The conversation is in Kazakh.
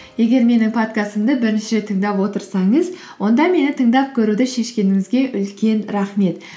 егер менің подкастымды бірінші рет тыңдап отырсаңыз онда мені тыңдап көруді шешкеніңізге үлкен рахмет